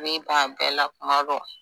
Ne b'a bɛɛla kuma dɔw